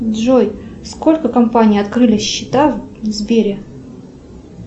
джой сколько компаний открыли счета в сбере